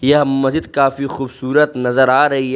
यह मस्जिद काफी खूबसूरत नजर आ रही है।